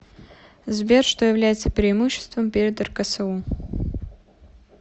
сбер что является преимуществом перед рксу